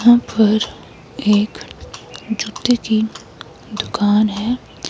यहां पर एक जूते की दुकान है।